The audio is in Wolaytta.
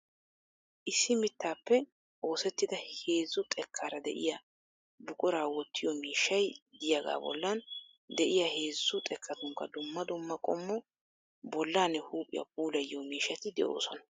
Issi mittaappe oosettida heezzu xekkaara de"iyaa buquraa woottiyoo miishshay diyaagaa bollan de'iya heezzu xekkatunkka dumma dumma qommo bollaanne huuphiya puulayiyo miishshati de'oosona.